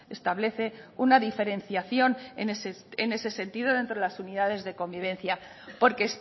establece una diferenciación en ese sentido dentro de las unidades de convivencia porque